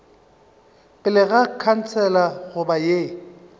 pele ga khansele goba ye